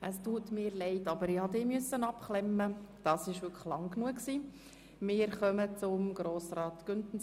Es tut mir leid, ich habe Ihnen das Mikrofon ausschalten müssen, Grossrat Mentha.